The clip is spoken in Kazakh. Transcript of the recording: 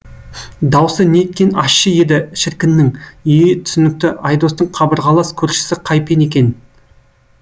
даусы неткен ащы еді шіркіннің е е е түсінікті айдостың қабырғалас көршісі қайпен екен